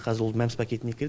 қазір ол мәмс пакетіне кіреді